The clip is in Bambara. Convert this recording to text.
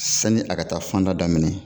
Sani a ka taa fan da daminɛ.